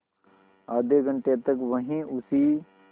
आधे घंटे तक वहीं उसी